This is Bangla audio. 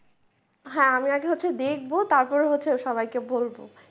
হ্যাঁ আমি আগে হচ্ছে দেখবো তারপরে হচ্ছে সবাইকে বলব।